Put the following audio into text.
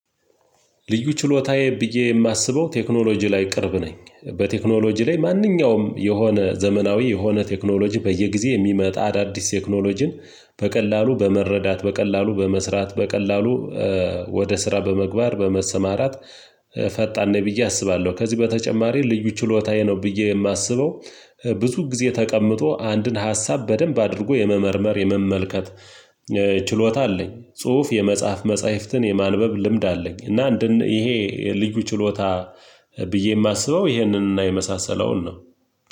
ልዩ ችሎታዬ ብዬ የማስበው ቴክኖሎጂ ላይ ቅርብ ነኝ በቴክኖሎጂ ላይ ማንኛውም የሆነ ዘመናዊ የሆነ ቴክኖሎጂ በየጊዜው የሚመጣ አዳዲስ ቴክኖሎጂን በቀላሉ በመረዳት በቀላሉ በመስራት በቀላሉ ወደ ስራ በምግባር በመሰማራት ፈጣን ነኝ አስባለሁ። ከዚህ በተጨማሪ ልዩ ችሎታዬ ነው ብዬ የማስበው። ብዙ ጊዜ ተቀምጦ አንድን ሀሳብ በደንብ አድርጎ የመመርመር የመመልከት ችሎታ አለኝ። ጽሁፍ የመጽሐፍ መጽሐፍትን የማንበብ ልምድ አለኝ። እና አንድን ይሄ ልዩ ችሎታ ብዬ የማስበው ይሄንን እና የመሳሰለውን ነው።